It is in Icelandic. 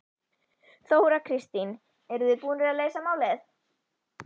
Þóra Kristín: Eruð þið búnir að leysa málið?